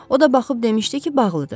O da baxıb demişdi ki, bağlıdır.